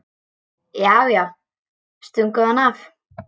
Já, já, stungu hann af!